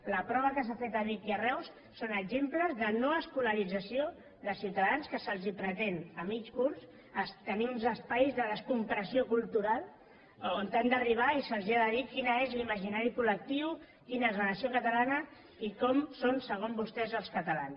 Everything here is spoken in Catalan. l la prova que s’ha fet a vic i a reus són exemples de no escolarització de ciutadans que se’ls pretén a mig curs tenir uns espais de descompressió cultural on han d’arribar i se’l ha de dir quin és l’imaginari col·lectiu quina és la nació catalana i com són segons vostès els catalans